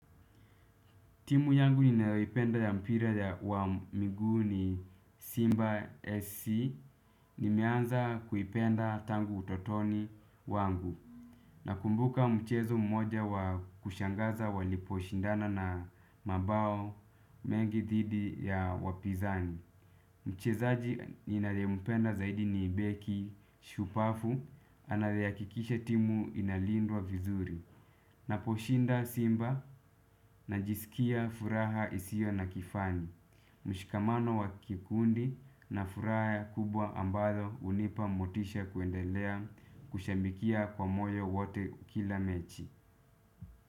Timu yangu ninayoipenda ya mpira ya wa miguu ni Simba SC. Nimeanza kuipenda tangu utotoni wangu. Nakumbuka mchezo mmoja wa kushangaza waliposhindana na mabao mengi dhidi ya wapinzani. Mchezaji ninayempenda zaidi ni beki shupavu. Anayehakikisha timu inalindwa vizuri. Naposhinda simba najisikia furaha isio na kifani, mshikamano wa kikundi na furaha kubwa ambayo hunipa motisha kuendelea kushabikia kwa moyo wote kila mechi.